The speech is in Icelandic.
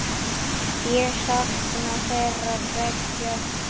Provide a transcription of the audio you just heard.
Ég sakna þeirra beggja.